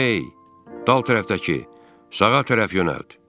Ey, dal tərəfdəki, sağa tərəf yönəlt.